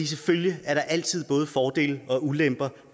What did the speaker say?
selvfølgelig er der altid både fordele og ulemper